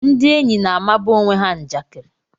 Ndị enyi na-amaba onwe ha njakiri